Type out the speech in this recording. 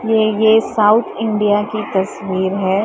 ये ये south India की तस्वीर है।